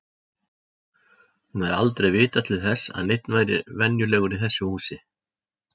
Hún hafði aldrei vitað til þess að neinn væri venjulegur í þessu húsi.